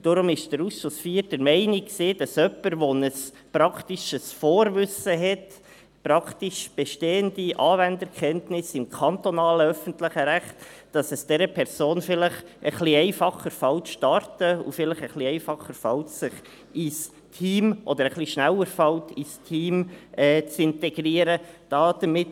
Deshalb war der Ausschuss IV der Meinung, dass es einer Person mit einem praktischen Vorwissen und mit praktisch bestehenden Anwenderkenntnissen im kantonalen öffentlichen Recht vielleicht ein bisschen einfacher fällt, zu starten, und sie sich schneller ins Team integrieren kann.